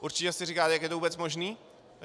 Určitě si říkáte, jak je to vůbec možné?